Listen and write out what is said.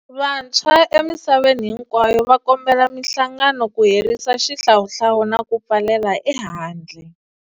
Vantshwa emisaveni hinkwayo va kombela mihlangano ku herisa xihlawuhlawu na ku pfalela ehandle.